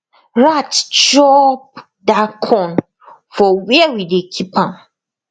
rat chop that corn for where we dey keep am